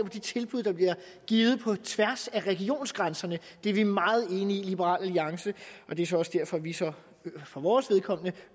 de tilbud der bliver givet på tværs af regionsgrænserne og det er vi meget enige i i liberal alliance og det er så også derfor vi for vores vedkommende